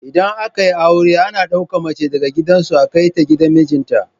Idan aka yi aure ana ɗauka mace daga gidan su a kai ta gidan mijin ta